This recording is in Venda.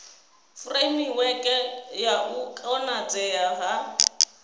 furemiweke ya u konadzea ha